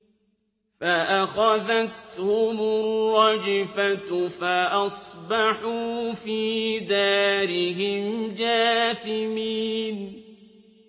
فَأَخَذَتْهُمُ الرَّجْفَةُ فَأَصْبَحُوا فِي دَارِهِمْ جَاثِمِينَ